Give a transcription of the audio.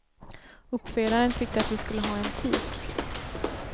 Uppfödaren tyckte att vi skulle ha en tik.